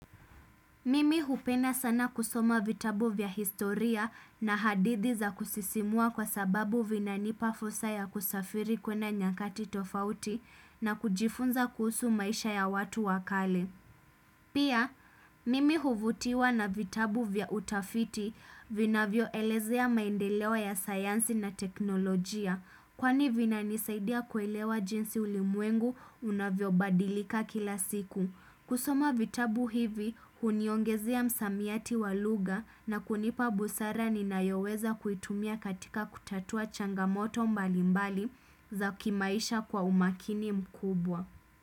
Mimi hupenda sana kusoma vitabu vya historia na hadithi za kusisimua kwa sababu vina nipa fursa ya kusafiri kwenda nyakati tofauti na kujifunza kuhusu maisha ya watu wa kale. Pia, mimi huvutiwa na vitabu vya utafiti vinavyo elezea maendeleo ya sayansi na teknolojia. Kwani vinanisaidia kuelewa jinsi ulimwengu unavyobadilika kila siku. Kusoma vitabu hivi, huniongezea msamiati wa lugha na kunipa busara ninayoweza kuitumia katika kutatua changamoto mbali mbali za kimaisha kwa umakini mkubwa.